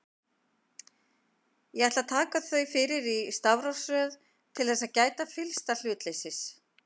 Ég ætla að taka þau fyrir í stafrófsröð til þess að gæta fyllsta hlutleysis.